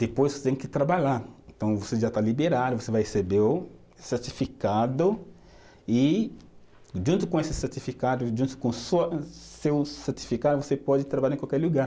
Depois você tem que trabalhar, então você já está liberado, você vai receber o certificado e junto com esse certificado, junto com sua seu certificado, você pode trabalhar em qualquer lugar.